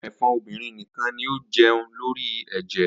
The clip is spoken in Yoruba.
Awọn ẹ̀fọn obinrin nikan ni o jẹun lori ẹjẹ.